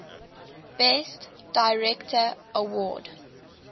best director award